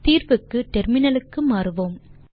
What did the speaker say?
தீர்வுக்கு டெர்மினலுக்கு மாறுவோம்